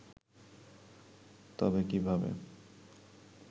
তবে কিভাবে